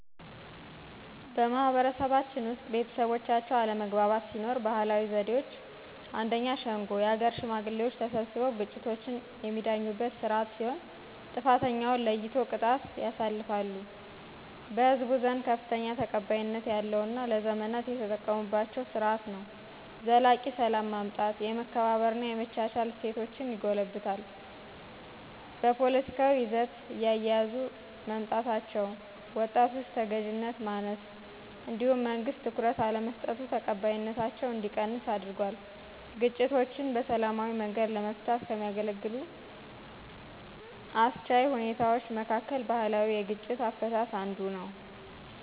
በማህበረሰባችን ውስጥ ቤተሰቦቻቸው አለመግባባት ሲኖር ባህላዊ ዘዴዎች 1፦ ሸንጓ: የአገር ሽማግሌዎች ተሰብስበው ግጭቶችን የሚዳኙበት ስርዓት ሲሆን፣ ጥፋተኛውን ለይቶ ቅጣት ያሳልፋሉ። በህዝቡ ዘንድ ከፍተኛ ተቀባይነት ያላውና ለዘመናት የተጠቀሙባቸው ስርዓት ነው። ዘላቂ ሰላም ማምጣት፣ የመከባበርና የመቻቻል እሴቶችን ይጎለብታል። በፖለቲካዊ ይዘት እየያዙ መምጣታቸው፣ ወጣቶች ተገዥነት ማነስ፣ እንዲሁም መንግስት ትኩረት አለመስጠቱ ተቀባይነታቸው እንዲቀንስ አድርጓል። ግጭቶችን በሰላማዊ መንገድ ለመፍታት ከሚያገለግሉ አስቻይ ሁኔታዎች መካከል ባህላዊ የግጭት አፈታት አንዱ ነው።